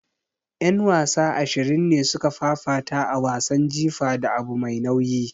Yan wasa ashirin ne suka fafata a wasan jifa da abu mai nauyi.